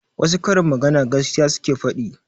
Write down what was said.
Wassu karin magana gaskiya suke faɗi